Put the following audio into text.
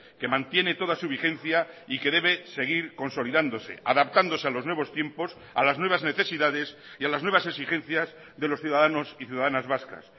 que mantiene toda su vigencia y que debe seguir consolidándose adaptándose a los nuevos tiempos a las nuevas necesidades y a las nuevas exigencias de los ciudadanos y ciudadanas vascas